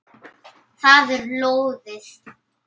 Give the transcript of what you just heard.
Það er lóðið.